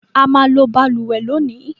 A máa lo balùwẹ́ lónìí